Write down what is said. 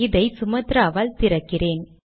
இதை சுமத்ராவால் திறக்கிறேன்